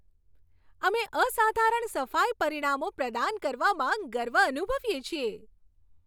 અમે અસાધારણ સફાઈ પરિણામો પ્રદાન કરવામાં ગર્વ અનુભવીએ છીએ.